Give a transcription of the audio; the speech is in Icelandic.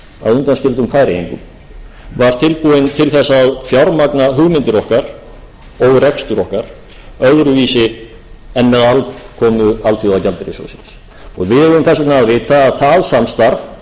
að undanskildum færeyingum var tilbúin til þess að fjármagna hugmyndir okkar og rekstur okkar öðruvísi en með aðkomu alþjóðagjaldeyrissjóðsins og við eigum þess vegna að vita að það samstarf er gríðarlega mikilvægt og að